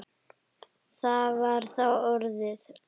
Það var þá orðið!